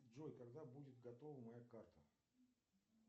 джой когда будет готова моя карта